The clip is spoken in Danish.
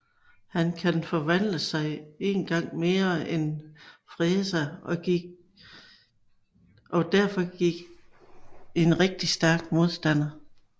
Han kan forvandle sig en gang mere end Freeza og er derfor en rigtig stærk modstander